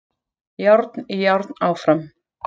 Járn í járn áfram